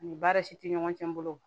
Ani baara si te ɲɔgɔn cɛ n bolo